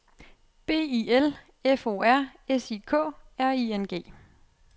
B I L F O R S I K R I N G